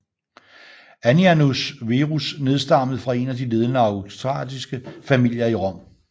Annianus Verus nedstammende fra en af de ledende aristokratiske familier i Rom